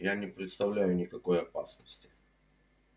я не представляю никакой опасности